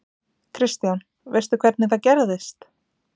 Kristján: Veistu hvernig það gerðist?